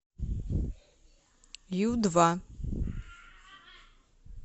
ю два